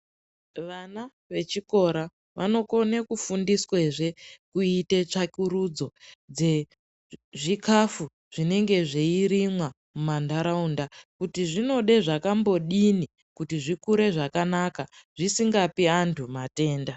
Vana vechikora vonokone kufundiswa zce zvekuita tsvakurudzo dzezvikafu zvinorimwa mumandaraunda kuti zvinode zvakambodini kuti zvizvkure zvakana zvisingapi antu matenda .